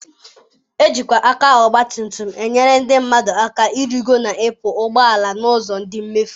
Ejikwa aka ọgbatumutum enyere ndị mmadụ aka ịrịgo na ịpụ ụgbọ ala n'ụzọ dị mfe.